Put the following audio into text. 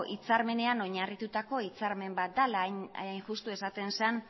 hitzarmenean oinarritutako hitzarmen bat da hain justu esaten zen